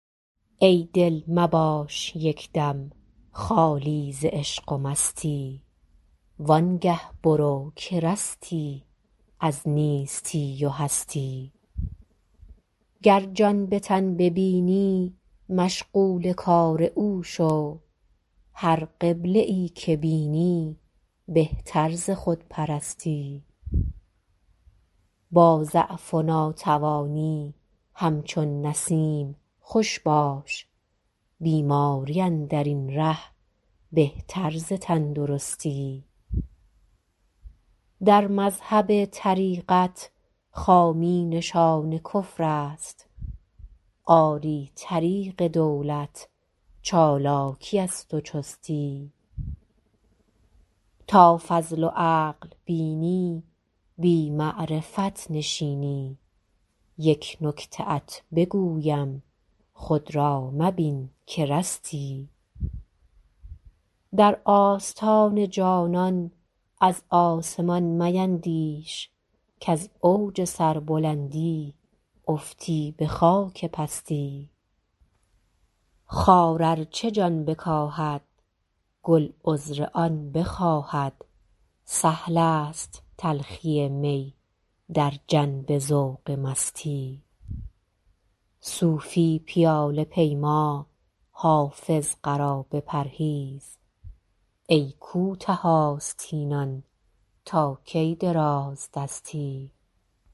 ای دل مباش یک دم خالی ز عشق و مستی وان گه برو که رستی از نیستی و هستی گر جان به تن ببینی مشغول کار او شو هر قبله ای که بینی بهتر ز خودپرستی با ضعف و ناتوانی همچون نسیم خوش باش بیماری اندر این ره بهتر ز تندرستی در مذهب طریقت خامی نشان کفر است آری طریق دولت چالاکی است و چستی تا فضل و عقل بینی بی معرفت نشینی یک نکته ات بگویم خود را مبین که رستی در آستان جانان از آسمان میندیش کز اوج سربلندی افتی به خاک پستی خار ار چه جان بکاهد گل عذر آن بخواهد سهل است تلخی می در جنب ذوق مستی صوفی پیاله پیما حافظ قرابه پرهیز ای کوته آستینان تا کی درازدستی